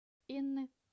инны